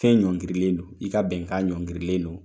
Fɛn ɲɔngrilen don i ka bɛnkan ɲɔngirilen don